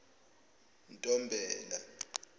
ntombela